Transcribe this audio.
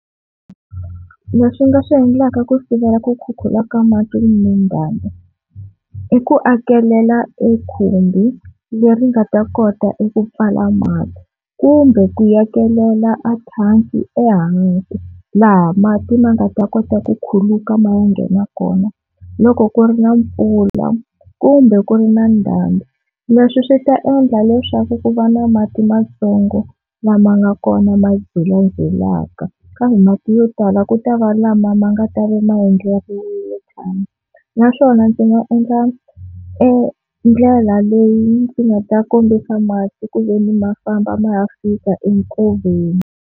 Leswi nga swi endlaka ku sivela ku khukhula ka mati kumbe ndhambi, i ku a kelela e khumbi leri nga ta kota eku pfala mati, kumbe ku akelela ethangi ehansi laha mati ma nga ta kota ku khuluka ma ya nghena kona loko ku ri na mpfula kumbe ku ri na ndhambi. Leswi swi ta endla leswaku ku va na mati matsongo lama nga kona lama jelajelaka kambe mati yo tala ku ta va lama ma nga ta va ma endleriwe thangi, naswona ndzi nga endla endlela leyi ndzi nga ta kombisa mati ku veni ma famba ma ya fika enkoveni.